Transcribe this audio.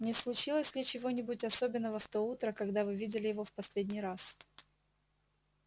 не случилось ли чего-нибудь особенного в то утро когда вы видели его в последний раз